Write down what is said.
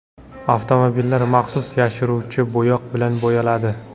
Avtomobillar maxsus yashiruvchi bo‘yoq bilan bo‘yaladi.